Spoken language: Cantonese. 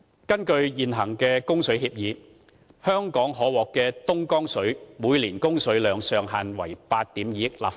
根據現行的供水協議，香港每年可獲的東江水上限為8億 2,000 萬立方米。